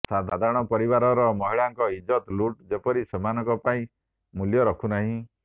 ସାଧାରଣ ପରିବାରର ମହିଳାଙ୍କ ଇଜ୍ଜତ ଲୁଟ୍ ଯେପରି ସେମାନଙ୍କ ପାଇଁ ମୂଲ୍ୟ ରଖୁ ନାହିଁ